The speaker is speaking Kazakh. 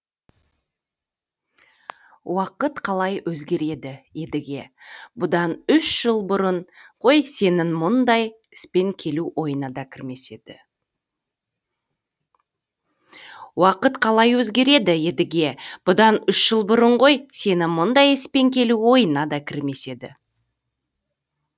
уақыт қалай өзгереді едіге бұдан үш жыл бұрын ғой сенің мұндай іспен келу ойыңа да кірмес еді